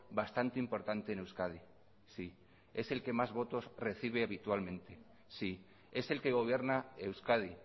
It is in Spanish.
bastante importante en euskadi sí es el que más votos recibe habitualmente sí es el que gobierna euskadi